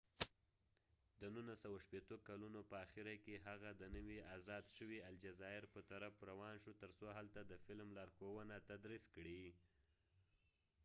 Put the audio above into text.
د 1960 کلونو په آخره کې هغه د نوي آزاد شوې الجزائر په طرف روان شو تر څو هلته د فیلم لارښوونه تدریس کړي